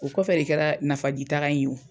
O kɔfɛ de kɛra nafaji taga in ye wo.